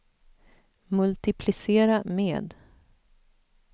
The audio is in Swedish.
multiplicera med